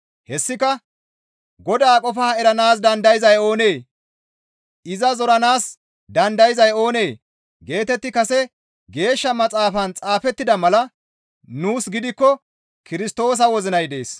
Hessika, «Godaa qofaa eranaas dandayzay oonee? Iza zoranaas dandayzay oonee?» geetetti kase Geeshsha Maxaafan xaafettida mala; nuus gidikko Kirstoosa wozinay dees.